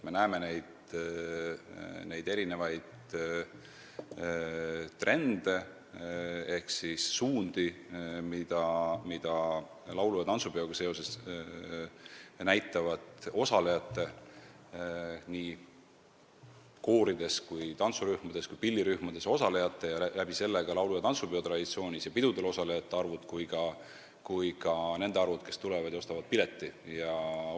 Me näeme neid trende ehk suundi, mida näitab laulu- ja tantsupidudel koorides, tantsurühmades ja ka pillirühmades osalejate ning sel kombel laulu- ja tantsupeo traditsioonis ja nendel pidudel osalejate arv, aga ka nende inimeste arv, kes ostavad pileti ning osalevad kuulaja ja vaatajana.